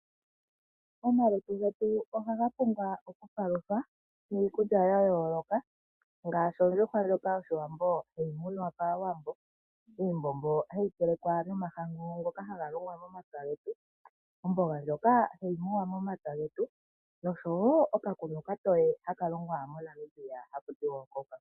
Omalutu getu ohaga pumbwa okupaluthwa niikulya yayooloka ngaashi ondjuhwa ndjoka yoshiwambo hayi munwa kaawambo, iimbombo hayi telekwa nomahangu ngoka haga longwa momapya getu, omboga ndjokahayi muwa momapya getu nosho wo okakunwa okatoye haka longwa moNamibia haku tiwa oCoca Cola.